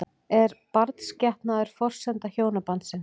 Er barnsgetnaður forsenda hjónabandsins?